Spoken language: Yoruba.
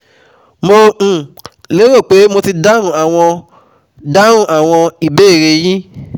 Mo um lérò pé mo ti dáhùn àwọn dáhùn àwọn ìbéèrè e yín